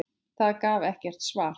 Það gaf ekkert svar.